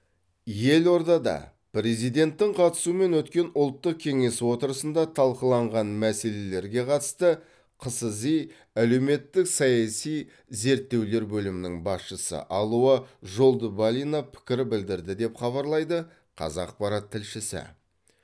елордада президенттің қатысуымен өткен ұлттық кеңес отырысында талқыланған мәселелерге қатысты қсзи әлеуметтік саяси зерттеулер бөлімінің басшысы алуа жолдыбалина пікір білдірді деп хабарлайды қазақпарат тілшісі